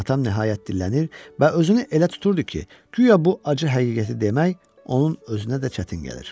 Atam nəhayət dillənir və özünü elə tuturdu ki, guya bu acı həqiqəti demək onun özünə də çətin gəlir.